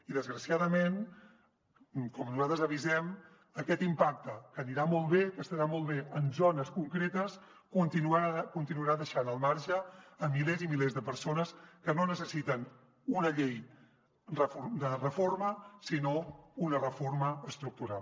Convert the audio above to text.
i desgraciadament com nosaltres avisem aquest impacte que anirà molt bé que estarà molt bé en zones concretes continuarà deixant al marge milers i milers de persones que no necessiten una llei de reforma sinó una reforma estructural